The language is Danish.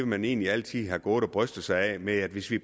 man egentlig altid har gået og brystet sig af med at sige